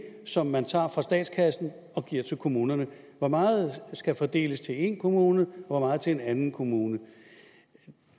som man tager fra statskassen og giver til kommunerne hvor meget skal fordeles til én kommune og hvor meget til en anden kommune